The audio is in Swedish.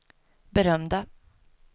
berömda